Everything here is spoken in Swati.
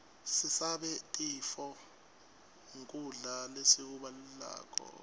sisabe tifo nqgkudla lesikublako